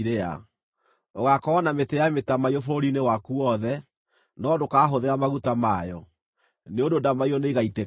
Ũgaakorwo na mĩtĩ ya mĩtamaiyũ bũrũri-inĩ waku wothe, no ndũkahũthĩra maguta mayo, nĩ ũndũ ndamaiyũ nĩigaitĩka thĩ.